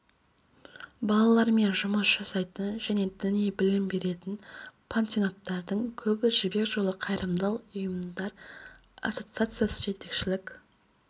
балалармен жұмыс жасайтын және діни білім беретін пансионаттардың көбіне жібек жолы қайырымдылық ұйымдар ассоциациясы жетекшілік